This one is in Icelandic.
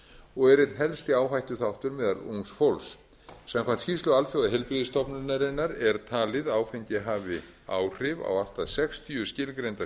og er einn helsti áhættuþáttur meðal ungs fólks samkvæmt skýrslu alþjóðaheilbrigðisstofnunarinnar er talið að áfengi hafi áhrif á allt að sextíu skilgreinda